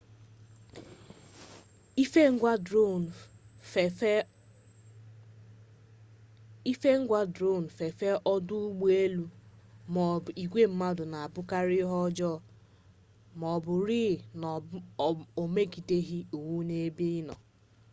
ife ngwa dron fefee ọdụ ụgbọelu maọbụ igwe mmadụ na-abụkarị ihe ọjọọ ma ọ bụrụ rịị na o megideghi iwu n'ebe ịnọ